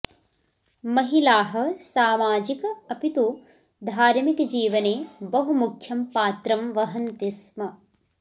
महिलाः सामजिक अपितु धार्मिकजीवने बहु मुख्यं पात्रं वहन्ति स्म